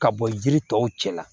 Ka bɔ yiri tɔw cɛ la